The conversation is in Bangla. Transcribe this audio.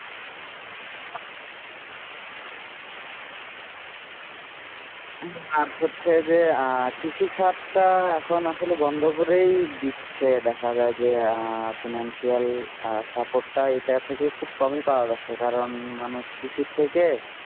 হম আর হচ্ছে যে আহ কৃষি খাত টা এখন আসলে বন্ধ করেই দিচ্ছে দেখা যায় যে financial support টা এটা থেকে খুব কমই পাওয়া যাচ্ছে কারণ মানুষ কৃষি থেকে